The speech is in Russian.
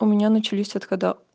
у меня начались отхода